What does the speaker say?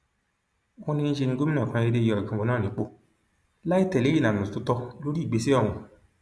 wọn ní níṣẹ ní gómìnà kan déédé yọ ọjọgbọn náà nípò láì tẹlé ìlànà tó tọ lórí ìgbésẹ ọhún